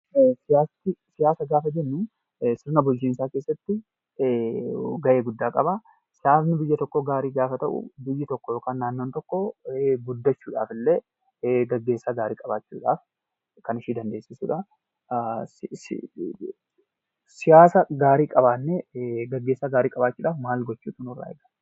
Siyaasa. Siyaasa gaafa jennu sirna bulchiinsaa keessatti ga'ee guddaa qaba . Siyaasni biyya tokkoo gaarii gaafa ta'uu; biyyi tokkoo yookiin naannoon tokko guddachuudhaaf gaggeessaa gaarii qabachuu qaba. Kan ishee dandeesiisuu dha. Siyaasa gaarii qabaannee gaggeessaa gaarii qabaachuudhaaf maaltu nu barbaachisa?